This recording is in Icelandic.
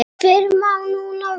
Fyrr má nú vera!